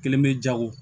Kelen be jago